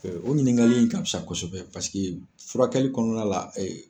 o ɲininkali in ka fisa kosɛbɛ paseke furakɛli kɔnɔna la